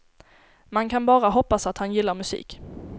Man kan bara hoppas att han gillar musik.